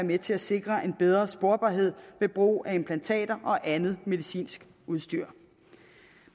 med til at sikre en bedre sporbarhed ved brug af implantater og andet medicinsk udstyr